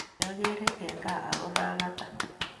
Kiakeren en gaa ako mekatan